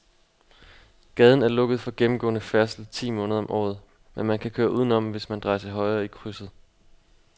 Gaden er lukket for gennemgående færdsel ti måneder om året, men man kan køre udenom, hvis man drejer til højre i krydset.